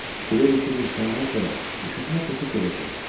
Bilirdi ki, qızışandan sonra üşütmə keçib gedəcək.